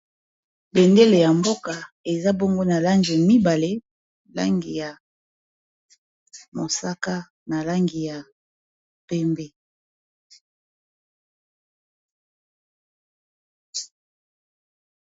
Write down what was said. Bendele ya mboka eza bongo na langi mibale langi ya mosaka na langi ya pembe.